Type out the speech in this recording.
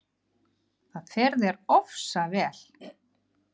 Það fer þér ofsalega vel!